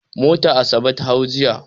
Mota Asabe ta hau jiya.